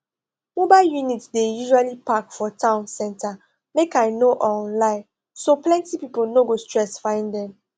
mobile units dey usually park for town center make i no um lie so plenty people no go stress find them